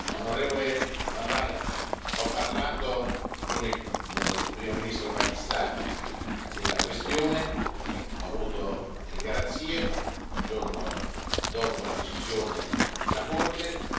Onorevole van Dalen, ho parlato con il Primo ministro pakistano della questione, e ho avuto delle garanzie il giorno dopo la decisione della Corte.